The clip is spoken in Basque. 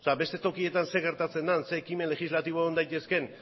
beste tokietan zer gertatzen den ze ekimen legislatibo egon daitezken